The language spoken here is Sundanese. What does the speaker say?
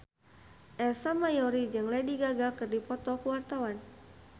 Ersa Mayori jeung Lady Gaga keur dipoto ku wartawan